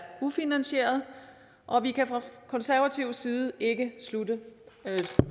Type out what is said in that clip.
ufinansieret og vi kan fra konservativ side ikke